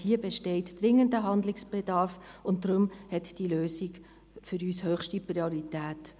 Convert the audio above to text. Hier besteht dringender Handlungsbedarf, und darum hat die Lösung für uns höchste Priorität.